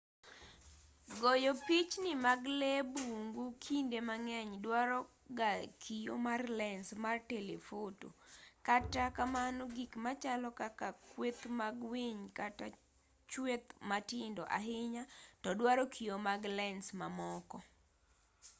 goyo pichni mag lee bungu kinde mang'eny dwaro ga kio mar lens mar telefoto kata kamano gik machalo kaka kweth mag winy kata chwech matindo ahinya to dwaro kio mag lens mamoko